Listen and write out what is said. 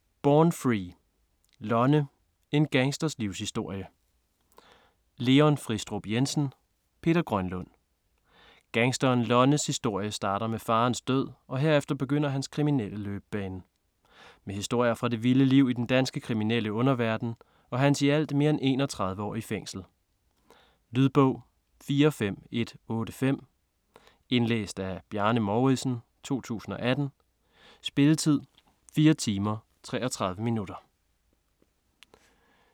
Born free: Lonne - en gangsters livshistorie Leon Fristrup Jensen ; Peter Grønlund Gangsteren Lonnes historie starter med faderens død, og herefter begynder hans kriminelle løbebane. Med historier fra det vilde liv i den danske kriminelle underverden og hans i alt mere end 31 år i fængsel. Lydbog 45185 Indlæst af Bjarne Mouridsen, 2018. Spilletid: 4 timer, 33 minutter.